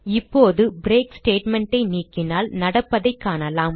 இப்போது break statement ஐ நீக்கினால் நடப்பதைக் காணலாம்